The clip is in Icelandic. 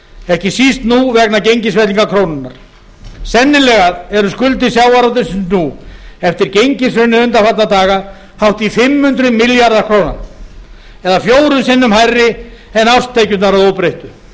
ekki síst nú vegna gengisfellingar krónunnar sennilega eru skuldir sjávarútvegsins nú eftir gengishrunið undanfarna daga hátt í fimm hundruð milljarða króna eða fjórum sinnum hærri en árstekjurnar að óbreyttu